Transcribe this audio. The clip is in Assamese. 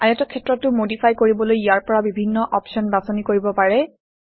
আয়তক্ষেত্ৰটো মডিফাই কৰিবলৈ ইয়াৰ পৰা বিভিন্ন অপশ্যন বাছনি কৰিব পাৰে